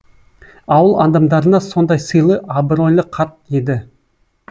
ауыл адамдарына сондай сыйлы абройлы қарт еді